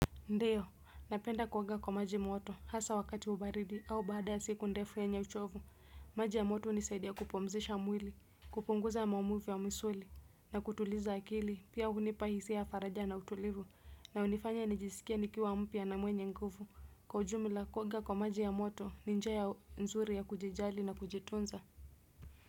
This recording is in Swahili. Ndiyo napenda kuoga kwa maji moto hasa wakati wa baridi au baada ya siku ndefu yenye uchovu maji ya moto hunisaidia kupumzisha mwili kupunguza maumivu ya misuli na kutuliza akili pia hunipa hisia ya faraja na utulivu na hunifanya nijisikie nikiwa mpya na mwenye nguvu kwa ujumla kuoga kwa maji ya moto ni njia nzuri ya kujijali na kujitunza.